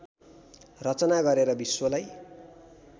रचना गरेर विश्वलाई